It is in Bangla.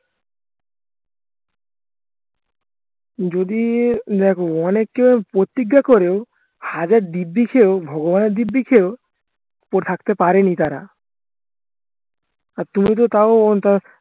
যদি দেখো অনেকে প্রতিজ্ঞা করেও হাজার দিব্ব্যি খেয়েও ভগবানের দিব্ব্যি খেয়েও পরে থাকতে পারেনি তারা আর তুমিতো তাও